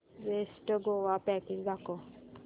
best Goa package दाखव